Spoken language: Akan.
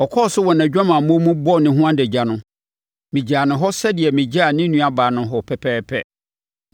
Ɔkɔɔ so wɔ nʼadwamammɔ mu, bɔɔ ne ho adagya no, megyaa no hɔ sɛdeɛ megyaa ne nuabaa no hɔ pɛpɛɛpɛ.